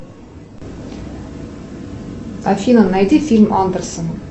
афина найди фильм андерсен